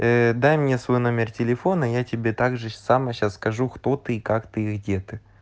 ээ дай мне свой номер телефона я тебе так же само сейчас скажу кто ты как ты и где ты